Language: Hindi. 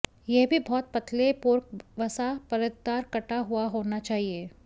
यह भी बहुत पतले पोर्क वसा परतदार कटा हुआ होना चाहिए